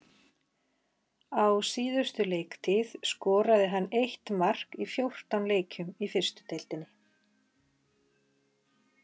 Á síðustu leiktíð skoraði hann eitt mark í fjórtán leikjum í fyrstu deildinni.